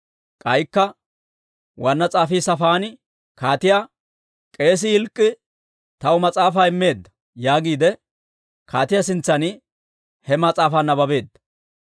K'aykka waanna s'afii Saafaani kaatiyaa, «K'eesii Hilk'k'ii taw mas'aafaa immeedda» yaagiide kaatiyaa sintsan he mas'aafaa nabbabeedda.